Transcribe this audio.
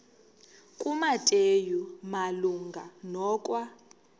kumateyu malunga nokwa